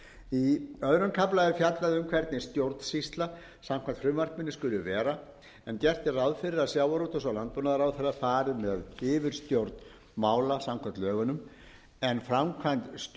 í öðrum kafla er fjallað um hvernig stjórnsýsla samkvæmt frumvarpinu skuli vera en gert er ráð fyrir að sjávarútvegs og landbúnaðarráðherra fari með yfirstjórn mála samkvæmt lögunum en framkvæmd